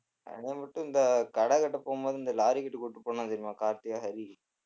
கடைமட்டும் இந்த கடை கட்ட போகும்போது இந்த லாரிகிட்ட கூட்டிட்டு போனான் தெரியுமா கார்த்தியும் ஹரி